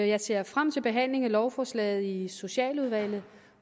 jeg ser frem til behandling af lovforslaget i socialudvalget